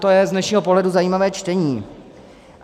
To je z dnešního pohledu zajímavé čtení.